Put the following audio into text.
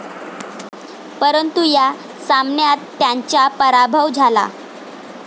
परंतु या सामन्यात त्यांचा पराभव झाला.